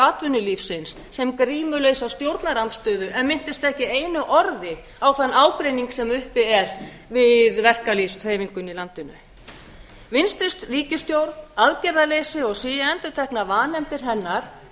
atvinnulífsins sem grímulausa stjórnarandstöðu en minntist ekki einu orði á þann ágreining sem uppi er við verkalýðshreyfinguna í landinu vinstri ríkisstjórn aðgerðarleysi og síendurteknar vanefndir hennar